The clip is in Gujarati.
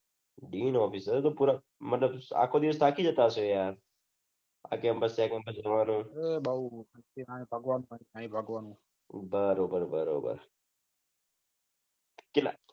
ડીન ઓફીસ બરોબર થાકી જતા હસો યાર આ તો આપડે જોવા જઈએ તો બરોબર બરોબર ચીલા